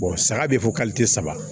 saga be fɔ saba